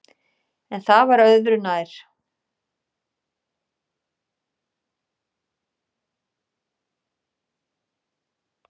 En það var öðu nær.